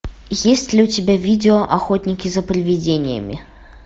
есть ли у тебя видео охотники за привидениями